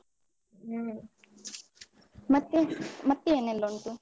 ಹ್ಮ ಮತ್ತೆ, ಮತ್ತೆ ಏನೆಲ್ಲ ಉಂಟು?